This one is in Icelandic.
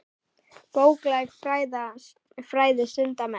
Bókleg fræði stunda menn.